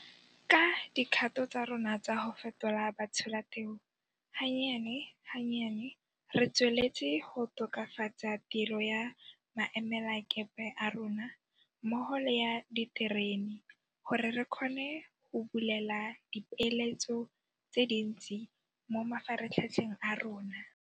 Ka dikgato tsa rona tsa go fetola batsholateu, gannyane ga nnyane re tsweletse go tokafatsa tiro ya maemelakepe a rona mmogo le ya diterene gore re kgone go bulela dipeeletso tse dintsi mo mafaratlhatlheng a rona.